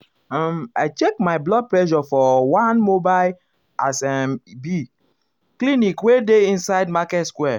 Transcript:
um i check my blood pressure for for one mobile as e um be um clinic wey dey inside market square.